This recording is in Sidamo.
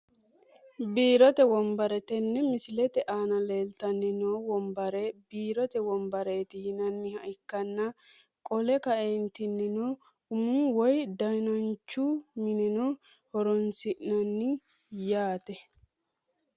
Biirote wonbare tene misiletee aana leeltani noo wonbare biirote wonbareeti yinaniha ikanna qolle kanentinino umu woyi dananchu mineno horonsinani yaate.